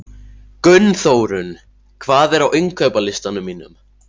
Gunnþórunn, hvað er á innkaupalistanum mínum?